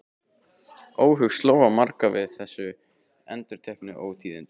Óhug sló á marga við þessi endurteknu ótíðindi.